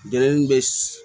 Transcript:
Jenini bɛ